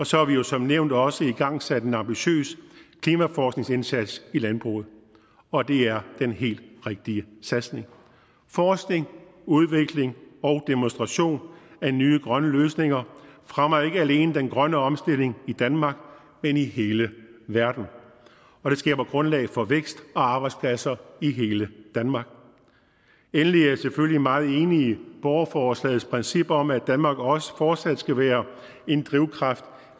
så har vi jo som nævnt også igangsat en ambitiøs klimaforskningsindsats i landbruget og det er den helt rigtige satsning forskning udvikling og demonstration af nye grønne løsninger fremmer ikke alene den grønne omstilling i danmark men i hele verden og det skaber grundlag for vækst og arbejdspladser i hele danmark endelig er jeg selvfølgelig meget enig i borgerforslagets princip om at danmark også fortsat skal være en drivkraft